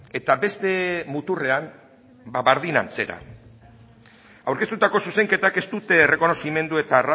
eta beste muturrean ba berdin antzera aurkeztutako zuzenketak ez dute errekonozimendu eta